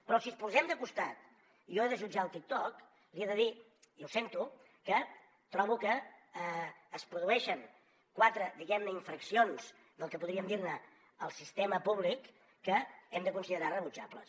però si els posem de costat i jo he de jutjar el tiktok li he de dir i ho sento que trobo que es produeixen quatre diguem ne infraccions del que podríem dir ne el sistema públic que hem de considerar rebutjables